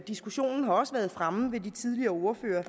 diskussionen har også været fremme ved de tidligere ordførere